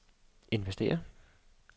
investere